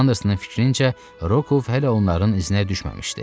Andersonun fikrincə, Rokov hələ onların iznə düşməmişdi.